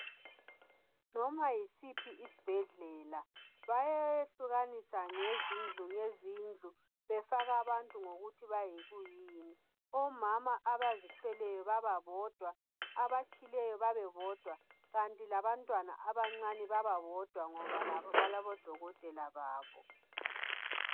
Noma yisiphi isibhedlela bayehlukanisa ngezindlu ngezindlu. Befaka abantu ngokuthi bayikuyini. Omama abazithweleyo babodwa abatshileyo babebodwa. Kanti labantwana abancane bababodwa ngoba labo balabo dokotele babo.